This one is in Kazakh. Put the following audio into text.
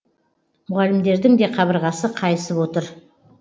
мұғалімдердің де қабырғасы қайысып отыр